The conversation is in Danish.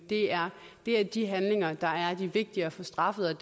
det er er de handlinger der er de vigtige at få straffet